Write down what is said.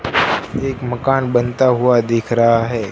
एक मकान बनता हुवा दिख रहा हैं।